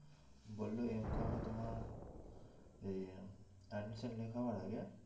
বললো MdotCOM এ তোমার এই admission লেখাবার আগে